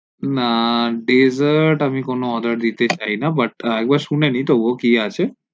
না dessert আমি কোনো order দিতে চাই না but একবার শুনে নেই তবুও কি আছে